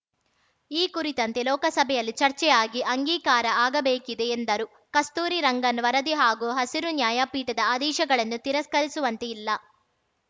ಈ ಕುರಿತಂತೆ ಲೋಕಸಭೆಯಲ್ಲಿ ಚರ್ಚೆ ಆಗಿ ಅಂಗೀಕಾರ ಆಗಬೇಕಿದೆ ಎಂದರು ಕಸ್ತೂರಿ ರಂಗನ್‌ ವರದಿ ಹಾಗೂ ಹಸಿರು ನ್ಯಾಯ ಪೀಠದ ಆದೇಶಗಳನ್ನು ತಿರಸ್ಕರಿಸುವಂತೆ ಇಲ್ಲ